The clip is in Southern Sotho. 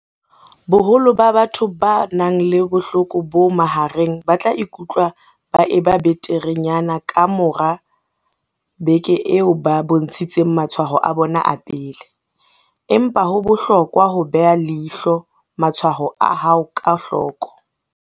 Boholo ba batho ba nang le bohloko bo mahareng ba tla ikutlwa ba eba beterenyana ka mora beke eo ba bontshitseng matshwao a bona a pele, empa ho bohlokwa ho beha leihlo matshwao a hao ka hloko.